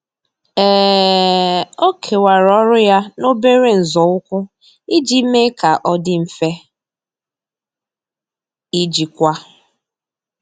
um Ọ́ kèwàrà ọ́rụ́ ya n’óbèré nzọụkwụ iji mee kà ọ́ dị́ mfe íjíkwá.